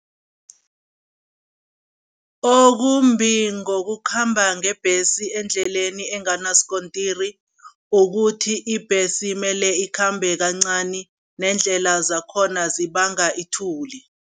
Okumbi ngokukhamba ngebhesi endleleni enganasikontiri ukuthi, ibhesi mele ikhambe kancani neendlela zakhona zibanga ithuli.